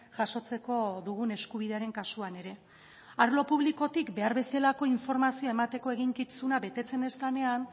jasotzeko dugun eskubidearen kasuan ere arlo publikotik behar bezalako informazioa emateko eginkizuna betetzen ez denean